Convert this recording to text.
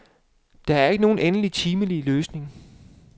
Der er ikke nogen endelige, timelige løsninger.